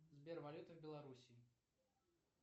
сбер валюта белоруссии